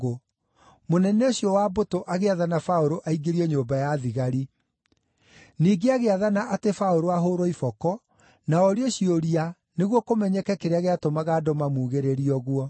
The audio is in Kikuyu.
mũnene ũcio wa mbũtũ agĩathana Paũlũ aingĩrio nyũmba ya thigari. Ningĩ agĩathana atĩ Paũlũ ahũũrwo iboko na orio ciũria nĩguo kũmenyeke kĩrĩa gĩatũmaga andũ mamugĩrĩrie ũguo.